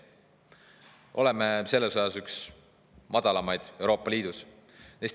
üks madalamaid Euroopa Liidus.